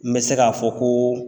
N bɛ se ka fɔ ko